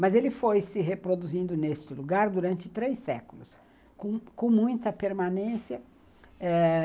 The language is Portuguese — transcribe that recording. Mas ele foi se reproduzindo nesse lugar durante três séculos, com com muita permanência. É